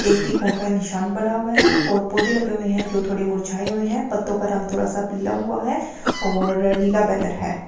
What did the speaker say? एक तिकोन का निशान बना हुआ है और पौधे लगे हुए हैं जो थोड़े मुरछाए हुए हैं पत्तों का रंग थोड़ा सा पीला हुआ है और नीला बैनर है।